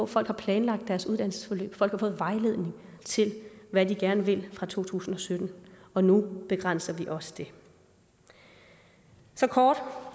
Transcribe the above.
folk planlagt deres uddannelsesforløb folk har fået vejledning til hvad de gerne vil fra to tusind og sytten og nu begrænser vi også det så kort